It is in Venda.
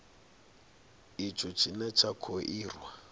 itsho tshine tsha kho irwa